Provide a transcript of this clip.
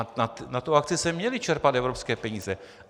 A na tu akci se měly čerpat evropské peníze.